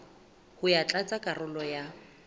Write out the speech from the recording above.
ho ya tlatsa karolo ya